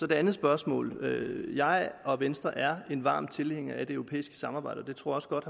det andet spørgsmål vil jeg og venstre er varme tilhængere af det europæiske samarbejde og det tror også godt